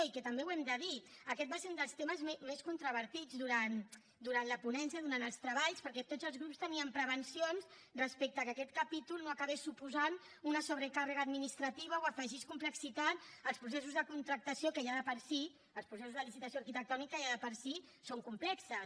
i que també ho hem de dir aquest va ser un dels temes més controvertits durant la ponència durant els treballs perquè tots els grups tenien prevencions respecte a que aquest capítol no acabés suposant una sobrecàrrega administrativa o afegís complexitat als processos de contractació que ja de per si els processos de licitació arquitectònica ja de per si són complexos